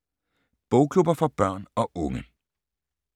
Bogklubber for børn og unge